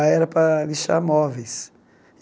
Aí era para lixar móveis.